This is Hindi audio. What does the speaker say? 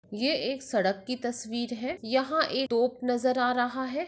ये एक सड़क की तस्वीर है यहा एक तोप नजर आ रहा है।